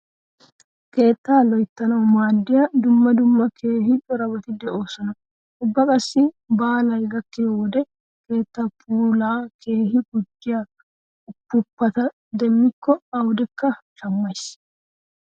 Keetta loyttanawu maaddiya dumma dumma keehi corabati de'oosona. Ubba qassi baale gakkiyo wode keettaa puulaa keehi gujjiya ufuuppata demmikko awudekka shammays.